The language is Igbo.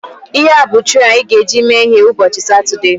Ihea bụ trei anyị ga-eji mee ihe ụbọchị Satọdee